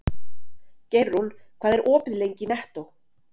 Geirrún, hvað er opið lengi í Nettó?